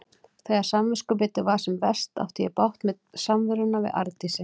Þegar samviskubitið var sem verst átti ég bágt með samveruna við Arndísi.